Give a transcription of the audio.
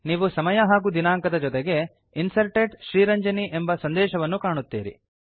ನೀವು ಸಮಯ ಹಾಗೂ ದಿನಾಂಕದ ಜೊತೆಗೆ Inserted ಶ್ರೀರಂಜನಿ ಎಂಬ ಸಂದೇಶವನ್ನು ಕಾಣುತ್ತೀರಿ